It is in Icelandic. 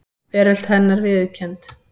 Veröld hennar viðurkennd.